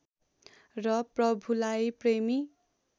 र प्रभुलाई प्रेमी